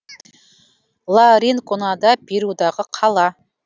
ла ринконада перудағы қала